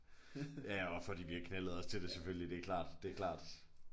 Ja også fordi vi har knaldede også til det det er klart det er klart